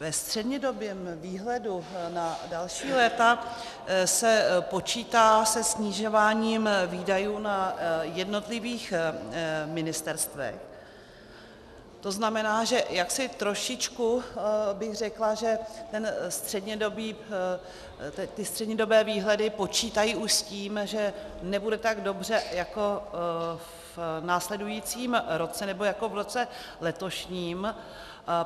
Ve střednědobém výhledu na další léta se počítá se snižováním výdajů na jednotlivých ministerstvech, to znamená, že jaksi trošičku bych řekla, že ty střednědobé výhledy počítají už s tím, že nebude tak dobře jako v následujícím roce nebo jako v roce letošním.